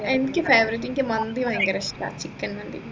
എനിക്ക് favorite എനിക്ക് മന്തി ഭയങ്കര ഇഷ്ടാ chicken മന്തി